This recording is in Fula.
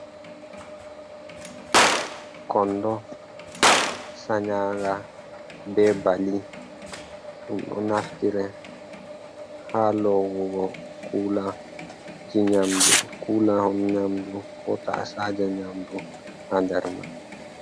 Kondo sanyaga be Bali ɗum ɗo naftire ha lowugo kula on, nyamdu ha tasaja nyamdu ha nder man.